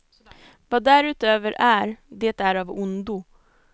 Vad därutöver är, det är av ondo.